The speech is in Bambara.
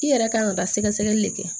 I yɛrɛ kan ka taa sɛgɛsɛgɛli de kɛ